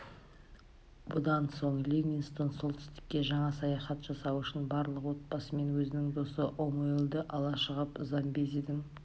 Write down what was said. бұдан соң ливингстон солтүстікке жаңа саяхат жасау үшін барлық отбасымен өзінің досы омуэлді ала шығып замбезидің